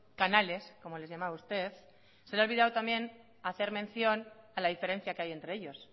canales como les llamaba usted se le ha olvidado también hacer mención a la diferencia que hay entre ellos